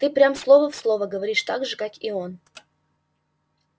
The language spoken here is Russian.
ты прям слово в слово говоришь так же как и он